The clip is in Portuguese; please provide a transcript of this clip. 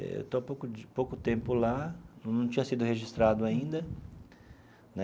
Estou há pouco de pouco tempo lá, não tinha sido registrado ainda né.